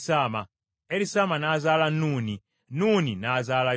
Erisaama n’azaala Nuuni, Nuuni n’azaala Yoswa.